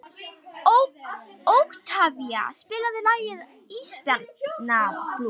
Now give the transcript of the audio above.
Oktavía, spilaðu lagið „Ísbjarnarblús“.